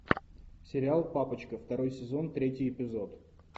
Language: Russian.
сериал папочка второй сезон третий эпизод